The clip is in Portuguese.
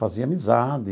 Fazia amizade.